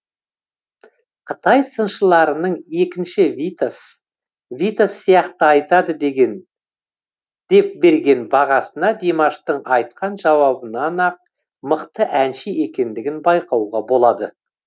қытай сыншыларының екінші витас витас сияқты айтады деп берген бағасына димаштың айтқан жауабынан ақ мықты әнші екендігін байқауға болады